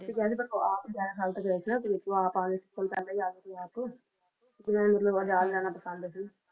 ਕਹਿੰਦੇ ਪਰ ਉਹ ਆਪ ਲੈਣ ਆਗੇ ਤੇ ਉਹ ਆਪ ਆਗੇ ਸੀ ਕੇ ਮਤਲਬ ਉਹਨਾਂ ਨੂੰ ਆਜ਼ਾਦ ਰਹਿਣਾ ਪਸੰਦ ਸੀ